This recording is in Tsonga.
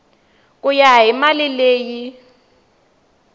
ku ya hi mali leyi